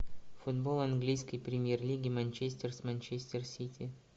футбол английской премьер лиги манчестер с манчестер сити